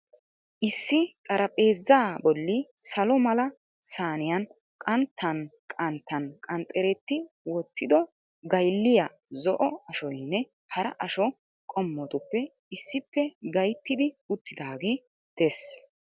Issi xaraphpheezzaa bolli salo mala saaniyaan qanttaan qanttaan qanxxeretti wottdo gaylliya zo'o ashoynne hara asho qommotuppe issippe gayttidi uttidaagee dees.